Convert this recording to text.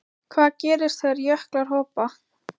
Hvað gerist þegar jöklar hopa?